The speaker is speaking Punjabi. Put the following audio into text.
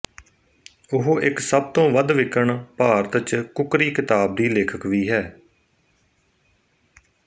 ਉਹ ਇੱਕ ਸਭ ਤੋਂ ਵੱਧ ਵਿਕਣ ਭਾਰਤ ਚ ਕੁੱਕਰੀ ਕਿਤਾਬ ਦੀ ਲੇਖਕ ਵੀ ਹੈ